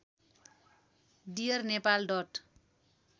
dear Nepal dot